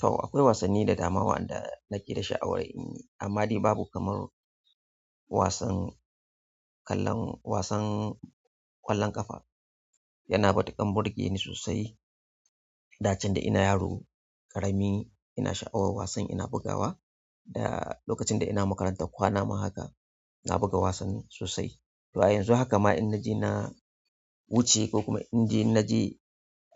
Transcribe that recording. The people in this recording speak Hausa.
To akwai wasanni da dama waɗanda nake da sha'awar in yi, amma dai babu kamar wasan kallon, wasan ƙwallon ƙafa. Yana matukan burge ni sosai da can da ina yaro ƙarami ina sha'awar wasan ina bugawa. Da lokacin da ina makarantar kwanan ma haka na buga wasan sosai. To a yanzu haka ma in naje na wuce ko kuma in naje,